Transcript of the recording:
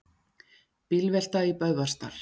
Bílvelta í Böðvarsdal